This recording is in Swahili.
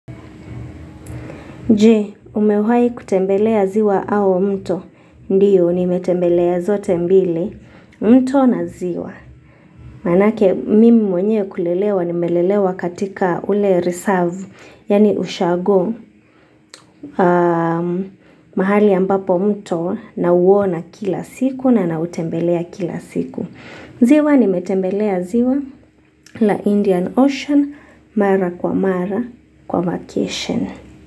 Je, umewahi kutembelea ziwa au mto? Ndio, nimetembelea zote mbili, mto na ziwa. Manake mimi mwenyewe kulelewa, nimelelewa katika ule reserve, yani ushago. Mahali ambapo mto nauona kila siku na nautembelea kila siku. Ziwa nimetembelea ziwa la Indian Ocean, mara kwa mara, kwa vacation.